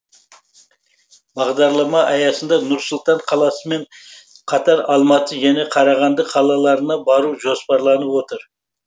бағдарлама аясында нұр сұлтан қаласымен қатар алматы және қарағанды қалаларына бару жоспарланып отыр